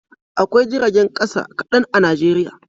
Akwai jiragen kasa kadan a Najeriya